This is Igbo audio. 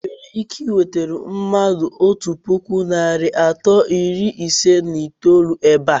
I nwere ike I nweta mmadụ otú puku narị anọ iri ise na itolu ébé a?